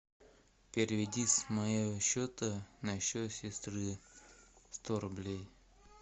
переведи с моего счета на счет сестры сто рублей